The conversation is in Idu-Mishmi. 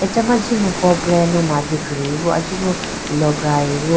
achama jimuku preyanu mandikhi bo achubu loprayi bo.